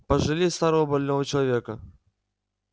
пожалей старого больного человека